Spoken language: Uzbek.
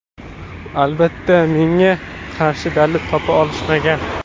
Albatta, menga qarshi dalil topa olishmagan.